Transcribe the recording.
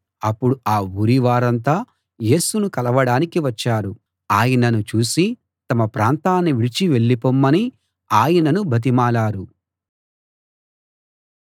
అప్పుడు ఆ ఊరి వారంతా యేసును కలవడానికి వచ్చారు ఆయనను చూసి తమ ప్రాంతాన్ని విడిచి వెళ్ళిపొమ్మని ఆయనను బతిమాలారు